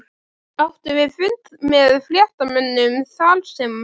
Áttum við fund með fréttamönnum þarsem